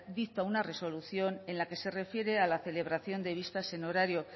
dicta una resolución en la que se refiere a la celebración de vistas en horario